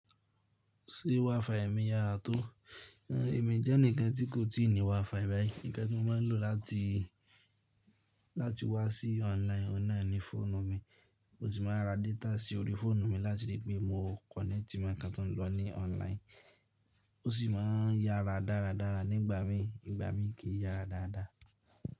Ṣé WiFi mi yára tó? É mi jẹ́ ẹnikan tí kò tíì ní WiFi báyìí. Ǹkan tí mo máa ń lò láti, láti wá sí online, ó náà ni fóònù mi. Mo sì máa ra data sí orí fóònù mi láti ri pé mo connect mọ̀ ikan tó ń lọ ní online. Ó sì máa ń yára dáradára nígbà mí, ìgbà mí kì í yára dáadáa.